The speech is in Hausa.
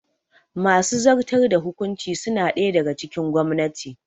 Masu zartar da hukuncin suna ɗaya daga cikin gwamnati